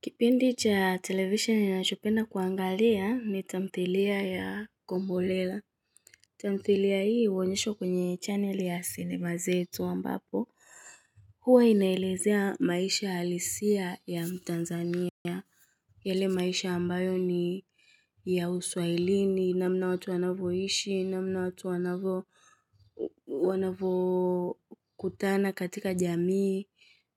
Kipindi cha televisheni nachopenda kuangalia, ni tamthilia ya kombolela tamthilia hii huonyeshwa kwenye channel ya sinema zetu ambapo hua inaelezea maisha halisia ya mtanzania. Yele maisha ambayo ni ya uswailini, namna watu wanavyoishi, namna watu wanavyo kutana katika jamii